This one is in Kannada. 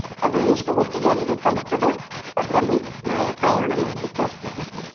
ಅದು ಎಷ್ಟು ಹೊತ್ತಿಗೆ ಅಲ್ಲಿಗೆ ತಲುಪತ್ತದೊ ಅದರಲ್ಲಿ ನಾವು ಪ್ರಯಾಣ ಮಾಡ್ಲಿಕ್ಕೆ ಆಗ್ತದೆ